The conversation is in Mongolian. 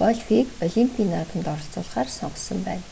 гольфийг олимпийн наадамд оролцуулахаар сонгосон байна